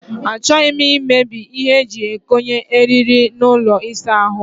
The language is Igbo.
Achọghị m imebi ihe eji ekonye eriri n'ụlọ ịsa ahụ.